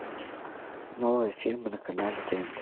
новые фильмы на канале тнт